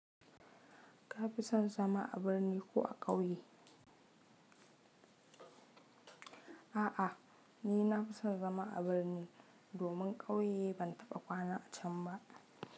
Ka fi son zama a birni ko a ƙauye? A'a, ni na fi son zama a birni, domin ƙauye ban taɓa kwana a can ba.